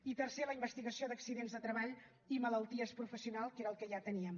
i tercer la investigació d’accidents de treball i malalties professionals que era el que ja teníem